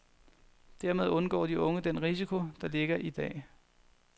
Dermed undgår de unge den risiko, der ligger i dag.